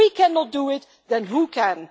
If we cannot do it, then who can?